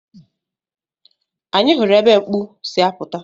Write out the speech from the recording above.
Anyị hụrụ ebe mkpu si apụta.